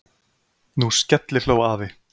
Nú skellihló afi.